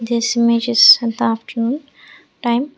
this images on the afternoon time.